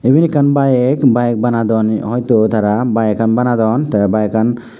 iben ekkan bike bike banadon hoito tara bykkan banadon tey bike an.